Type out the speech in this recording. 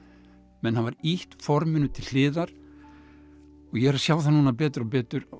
menn hafa ýtt forminu til hliðar og ég er að sjá það núna betur og betur og